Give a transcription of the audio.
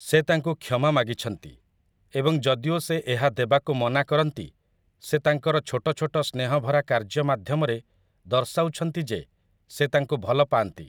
ସେ ତାଙ୍କୁ କ୍ଷମା ମାଗିଛନ୍ତି, ଏବଂ ଯଦିଓ ସେ ଏହା ଦେବାକୁ ମନା କରନ୍ତି ସେ ତାଙ୍କର ଛୋଟ ଛୋଟ ସ୍ନେହଭରା କାର୍ଯ୍ୟ ମାଧ୍ୟମରେ ଦର୍ଶାଉଛନ୍ତି ଯେ ସେ ତାଙ୍କୁ ଭଲ ପାଆନ୍ତି ।